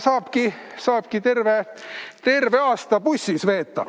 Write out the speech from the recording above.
Saab kas või terve aasta bussis veeta.